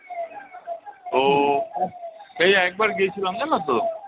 তো সেই একবার গেছিলাম জানো তো?